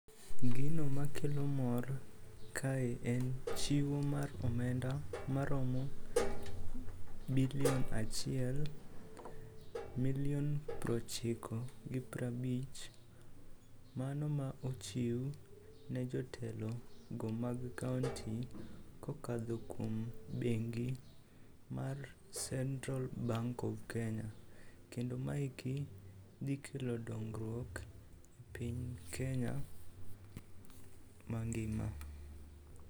Gino makelo mor kae en chiwo mar omenda maromo milion achiel, milion prochiko gi prabich, mano ma ochiw ne jotelo go mag kaonti kokadho kuom bengi mar Central Bank of Kenya ,kendo ma eki dhi kelo dongruok e piny Kenya mangima.